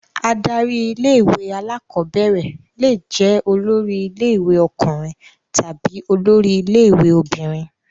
Adarí ilé-ìwé alákọ̀ọ́bẹ̀rẹ̀ le jẹ́ olórí ilé-ìwé ọkùnrin tàbí olórí ilé-ìwé obìnrin.